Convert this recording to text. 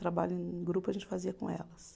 Trabalho em grupo a gente fazia com elas.